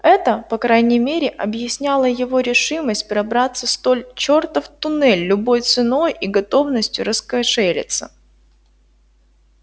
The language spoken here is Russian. это по крайней мере объясняло его решимость пробраться столь чёртов туннель любой ценой и готовность раскошелиться